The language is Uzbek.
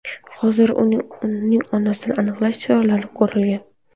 Hozirda uning onasini aniqlash choralari ko‘rilgan.